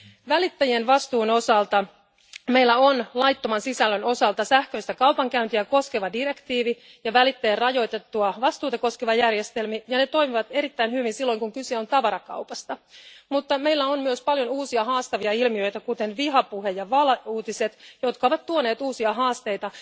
Välittäjien vastuun osalta meillä on laittoman sisällön osalta sähköistä kaupankäyntiä koskeva direktiivi ja välittäjän rajoitettua vastuuta koskevia järjestelmiä, ja ne toimivat erittäin hyvin silloin, kun kyse on tavarakaupasta. Mutta meillä on myös paljon uusia haastavia ilmiöitä, kuten vihapuhe ja valeuutiset, jotka ovat tuoneet uusia haasteita.